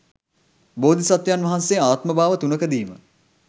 බෝධිසත්වයන් වහන්සේ ආත්ම භාව තුනකදීම